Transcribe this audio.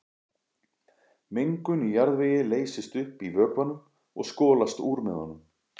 Mengun í jarðvegi leysist upp í vökvanum og skolast úr með honum.